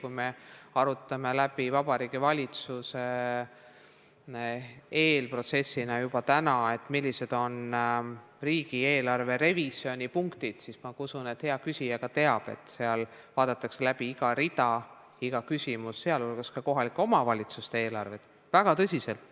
Kui me arutame Vabariigi Valitsuses eelprotsessina juba täna läbi, millised on riigieelarve revisjoni punktid, siis ma usun, et hea küsija teab ka seda, et seal vaadatakse väga tõsiselt läbi iga rida, iga küsimus, sh kohalike omavalitsuste eelarved.